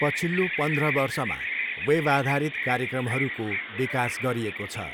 पछिल्लो पन्ध्र वर्षमा, वेबआधारित कार्यक्रमहरूको विकास गरिएको छ।